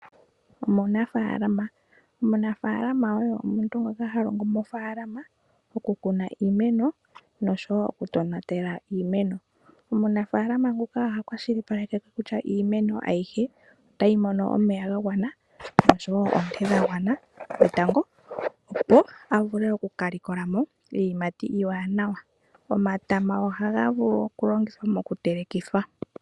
Omunafalama. Omunafalama oye omuntu ngoka halongo mofaalama oku kuna iimeno noshowo oku tonatela iimeno. Omunafalama nguka oha kwashilipaleka kutya iimeno ayihe otayi mono omeya ga gwana oshowo onte dhagwana dhetango opo ovule oku kalikolamo iiyimati iiwanawa. Omatama ohaga vulu oku longithwa moku telekithwa .